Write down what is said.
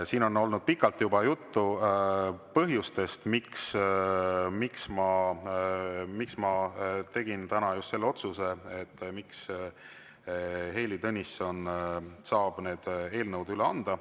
Siin on olnud juba pikalt juttu põhjustest, miks ma tegin täna just selle otsuse, et Heili Tõnisson saab need eelnõud üle anda.